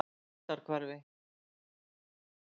Grundarhvarfi